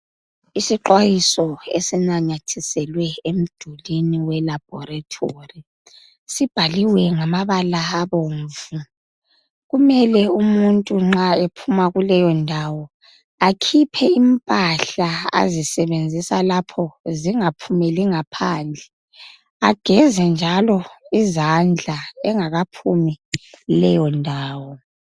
lsixwayiso esinyanatiselwe emdulini welabhoretori. Sibhaliwe ngamabala abomvu. Kumele umuntu nxa ephuma kuleyo ndawo akhiphe impahla asisebenzisa lapho zingaphumeli ngaphandle. Ageze njalo izandla engakaphumi kuleyo ndawo.